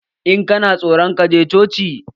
In kana tsoro, ka je coci